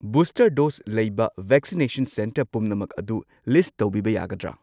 Booster dose ꯂꯩꯕ vaccination centre ꯄꯨꯝꯅꯃꯛ ꯑꯗꯨ ꯂꯤꯁꯠ ꯇꯧꯕꯤꯕ ꯌꯥꯒꯗ꯭ꯔꯥ?